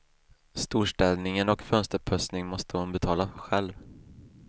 Storstädningen och fönsterputsning måste hon betala själv.